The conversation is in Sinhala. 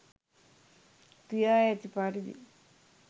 කියා ඇති පරිදි